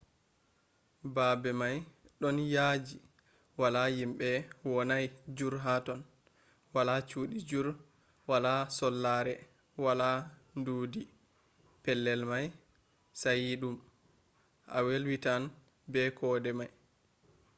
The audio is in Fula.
baabe may ɗon yaaji wala yimɓe wonay jur ha ton wala cuudi jur wala sollare wala ndudi pellel may sayiɗum a welwitan be kode may